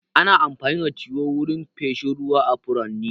Ana amfani da tiyo wurin feshin ruwa a furanni.